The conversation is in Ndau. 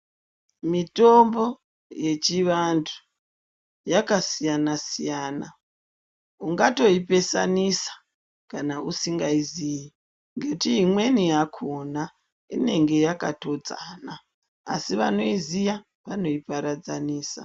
Mitombo yechivantu yakasiyana siyana ungatoipesanisa kana usingaiziyi ngekuti imweni yakona inenge yakatodzana asi vanoiziya vanoiparadzanisa.